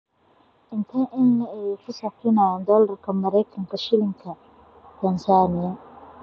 intee in le'eg ayaynu ku sarifaynaa dollarka Maraykanka shilinka Tansaaniya